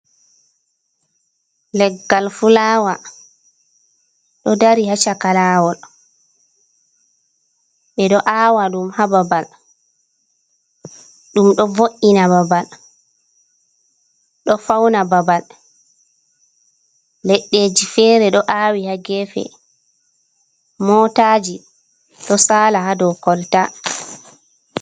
Leggal fulawa, ɗo dari haa caka laawol. Ɓe ɗo aawa ɗum haa babal. Ɗum ɗo vo'ina babal, ɗo fauna babal. Leɗɗeji fere ɗo aawi ha gefe. Mootaji ɗo saala ha dou kolta.